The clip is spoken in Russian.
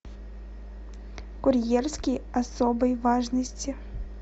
курьерский особой важности